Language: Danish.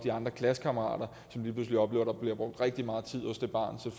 klassekammeraterne som lige pludselig oplever at der bliver brugt rigtig meget tid